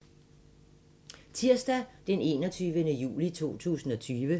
Tirsdag d. 21. juli 2020